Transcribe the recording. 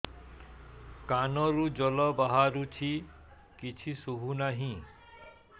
କାନରୁ ଜଳ ବାହାରୁଛି କିଛି ଶୁଭୁ ନାହିଁ